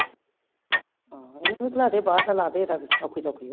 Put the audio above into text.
ਹਮ ਇਹਦਾ ਵੀ ਬਾਹਰ ਦਾ ਲਾਦੀ ਇਹਦਾ ਵੀ ਓਖੀ ਸੋਖੀ ਹੋ ਕੇ